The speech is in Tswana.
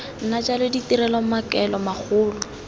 nna jalo ditirelo maikaelelo magolo